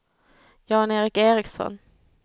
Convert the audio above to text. Jan-Erik Ericson